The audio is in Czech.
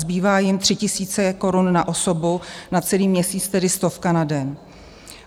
Zbývá jim 3 000 korun na osobu na celý měsíc, tedy stovka na den.